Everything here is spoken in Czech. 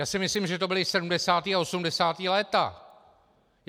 Já si myslím, že to byla 70. a 80. léta.